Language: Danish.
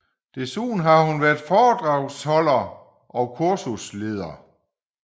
Desuden har hun været foredragsholder og kursusleder